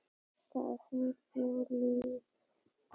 Það fannst Júlíu gott.